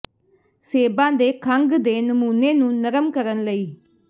ਸੇਬਾਂ ਦੇ ਖੰਘ ਦੇ ਨਮੂਨੇ ਨੂੰ ਨਰਮ ਕਰਨ ਲਈ